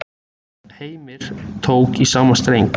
Heimir tók í sama streng.